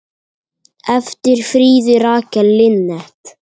eftir Fríðu Rakel Linnet